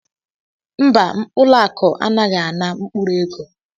Mba, ụlọakụ anaghịzi ana mkpụrụ ego